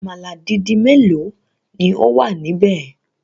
Àmàlà dídì mélòó ni ó wà níbẹ̀?